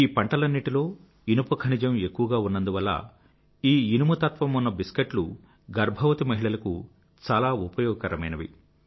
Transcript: ఈ పంటలన్నింటిలో ఇనుప ఖనిజం ఎక్కువగా ఉన్నందువల్ల ఈ ఇనుము తత్వమున్న బిస్కెట్లు గర్భవతి మహిళలకు చాలా ఉపయోగకరమైనవి